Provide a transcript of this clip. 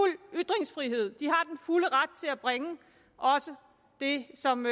ytringsfrihed de har den fulde ret til at bringe også det som